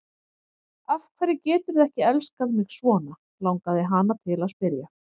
Af hverju geturðu ekki elskað mig svona, langaði hana til að spyrja.